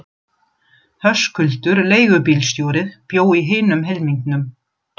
Höskuldur leigubílstjóri bjó í hinum helmingnum.